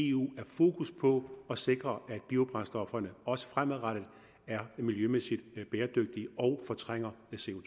i eu er fokus på at sikre at biobrændstofferne også fremadrettet er miljømæssigt bæredygtige og fortrænger